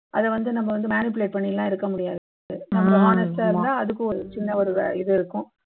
அதை வந்து நம்ம வந்து manipulate பண்ணி எல்லாம் இருக்க முடியாது நம்ம honest ஆ இருந்தா அதுக்கு ஒரு சின்ன ஒரு இது இருக்கும்